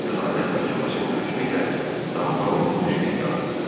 Ədalət məhkəməsinin hökmü ilə damğa vurulmuş bir qadın.